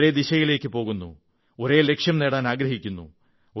ഒരേ ദിശയിലേക്കു പോകുന്നു ഒരേ ലക്ഷ്യം നേടാനാഗ്രഹിക്കുന്നു